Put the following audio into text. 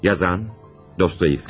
Yazan: Dostoyevski.